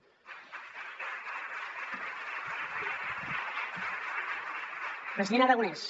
president aragonès